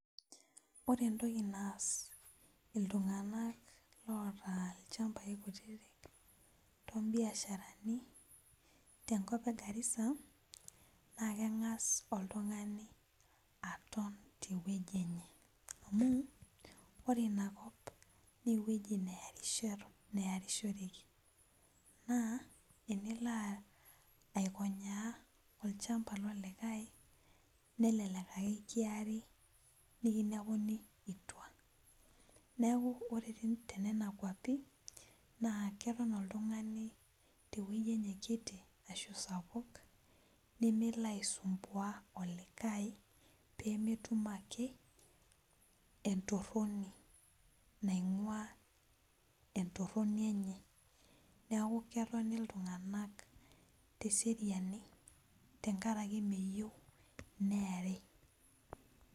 Ore entoki naas iltung'anak loota ilchambai kutitik tombiasharani tenkop e garissa naa keng'as oltung'ani aton tewueji enye amu ore inakop newueji neyarisho neyarishoreki naa enilo aikonyaa olchamba lolikae nelelek ake kiari nikinepuni itua neku ore tin tenena kuapi naa keton oltung'ani tewueji enye kiti ashu sapuk nemelo aisumbua olikae pemetum ake entorroni naing'ua entorroni enye niaku ketoni iltung'anak teseriani tenkarake meyieu neeri.